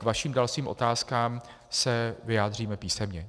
K vašim dalším otázkám se vyjádříme písemně.